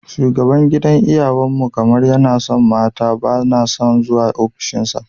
Shugaban gidan iyawan mu kamar yana son mata, bana son zuwa ofishin sa.